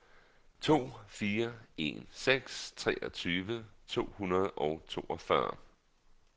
to fire en seks treogtyve to hundrede og toogfyrre